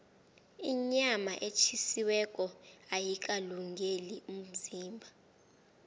inyama etjhisiweko ayikalungeli umzimba